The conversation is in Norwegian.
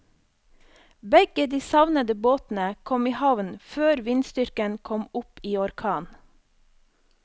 Begge de savnede båtene kom i havn før vindstyrken kom opp i orkan.